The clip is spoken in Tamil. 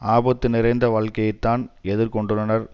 ஆபத்து நிறைந்த வாழ்க்கையைத்தான் எதிர் கொண்டுள்ளனர்